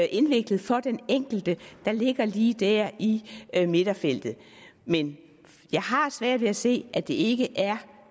indviklet for den enkelte der ligger lige der i midterfeltet men jeg har svært ved at se at det ikke